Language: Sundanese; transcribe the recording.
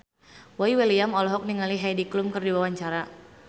Boy William olohok ningali Heidi Klum keur diwawancara